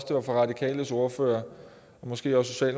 de radikales ordfører og måske også